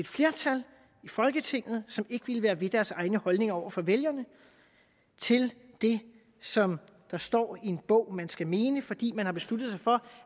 flertal i folketinget som ikke ville være ved deres egne holdninger over for vælgerne til det som der står i en bog at man skal mene fordi man har besluttet sig for